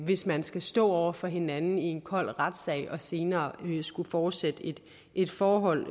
hvis man skal stå over for hinanden i en kold retssag og senere skulle fortsætte et forhold